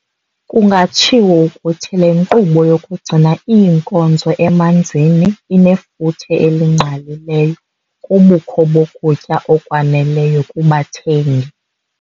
Kungatshiwo ukuthi le nkqubo yokugcina iinkozo emanzini inefuthe elingqalileyo kubukho bokutya okwaneleyo kubathengi.